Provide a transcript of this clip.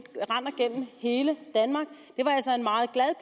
hele danmark det var altså en meget glad